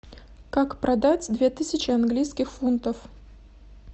как продать две тысячи английских фунтов